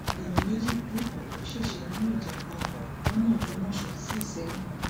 èèyàn méjì ku ọpọ ṣẹṣẹ nínú ìjàǹbá ọkọ lọnà ògbómọṣọ sí ìsẹyìn